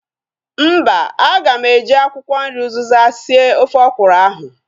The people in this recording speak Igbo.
Mba, aga m eji akwụkwọ nri uzịza sie ofe ọkwụrụ ahu